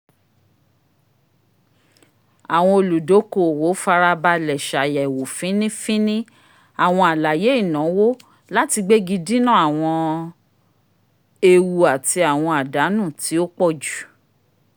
awọn oludokoowo farabalẹ ṣ'ayẹwo fínífíní awọn àlàyé ìnáwó lati gbegi dina awọn éewu ati awọn àdánù ti o pọ̀jù